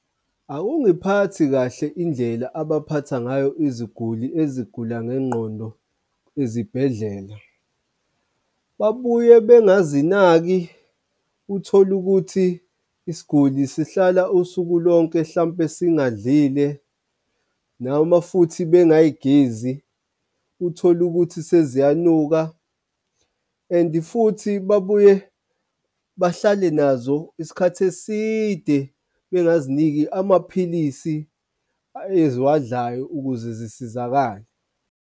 Akungiphathi kahle indlela abaphatha ngayo iziguli ezigulayo ngengqondo ezibhedlela. Babuye bengazinaki, uthole ukuthi isiguli sihlala usuku lonke hlampe singadlile noma futhi bengay'gezi, uthole ukuthi seziyanuka and futhi babuye bahlale nazo isikhathi eside, bengaziniki amaphilisi eziwandlayo ukuze zisizakale.